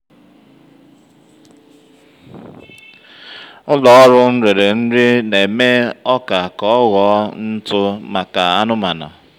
ụ́lọ̀ ọ́rụ́ ńrèrè ńrí nà-èmé ọ́kà kà ọ́ ghọ́ọ ńtụ́ màkà ànụ́màna.